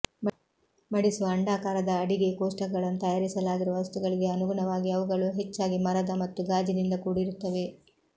ಮಡಿಸುವ ಅಂಡಾಕಾರದ ಅಡಿಗೆ ಕೋಷ್ಟಕಗಳನ್ನು ತಯಾರಿಸಲಾಗಿರುವ ವಸ್ತುಗಳಿಗೆ ಅನುಗುಣವಾಗಿ ಅವುಗಳು ಹೆಚ್ಚಾಗಿ ಮರದ ಮತ್ತು ಗಾಜಿನಿಂದ ಕೂಡಿರುತ್ತವೆ